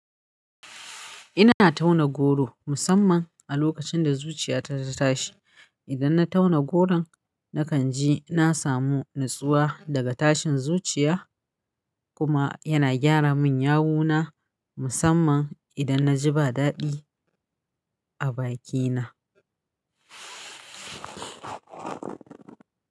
Ina tauna goro, musamman a lokacin da zuciyata ta tashi. Idan na tauna goron, nakan ji na samu natsuwa daga tashin zuciya, kuma yana gyara min yawuna, musamman idan na ji ba daɗi a bakina.